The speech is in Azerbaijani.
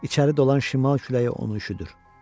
İçəri dolan şimal küləyi onu üşüdür.